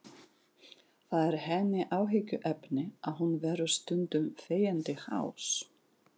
Það er henni áhyggjuefni að hún verður stundum þegjandi hás.